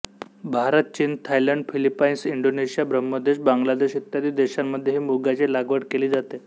भारत चीन Thailand Philippines Indonesia ब्रह्मदेश बांग्लादेश इत्यादी देशांमध्ये ही मुगाची लागवड केली जाते